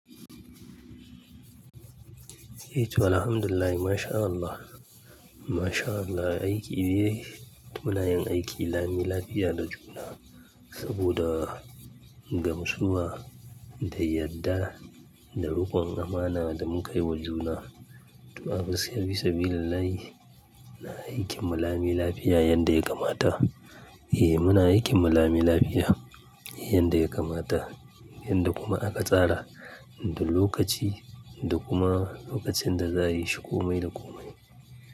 Eh to alhamdulillah mashallah, mashallah aiki dai muna yin aiki lami lafiya da juna saboda gamsuwa da yadda da rukon amana da mukai wa juna. To a gaskiya siyarwa sabilillahi aikin mu lami lafiya yadda ya kamata. Eh muna aikin mu lami lafiya yanda ya kamata yanda kuma aka tsara da lokaci da kuma lokacin da za'a yi shi komai da komai.